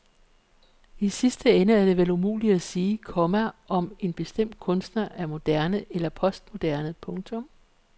I sidste ende er det vel umuligt at sige, komma om en bestemt kunstner er moderne eller postmoderne. punktum